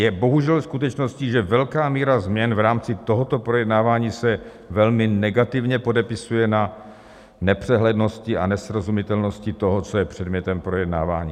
Je bohužel skutečností, že velká míra změn v rámci tohoto projednávání se velmi negativně podepisuje na nepřehlednosti a nesrozumitelnosti toho, co je předmětem projednávání.